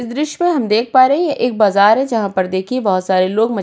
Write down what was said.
इस दृश्य मे हम देख प रहे हैं ये एक बाजार है जहां पर देखिए बोहोत सारे लोग --